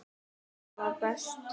Það var best.